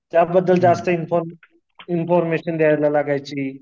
त्याबद्दल जास्त इन्फॉर्मेशन द्यायला लागायची.